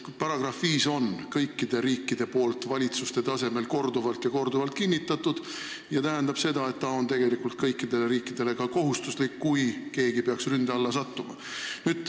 Artiklit 5 on kõik riigid valitsuste tasemel korduvalt kinnitanud ning seega on selle täitmine kõikidele riikidele kohustuslik, kui keegi peaks ründe alla sattuma.